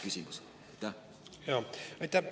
Aitäh!